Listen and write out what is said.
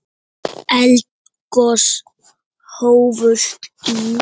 Þegar eldgos hófust í